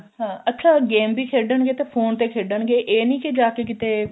ਹਾਂ ਅੱਛਾ game ਵੀ ਖੇਡਣਗੇ ਤਾਂ phone ਤੇ ਖੇਡਣਗੇ ਇਹ ਨੀ ਕੇ ਜਾ ਕੇ ਕਿਤੇ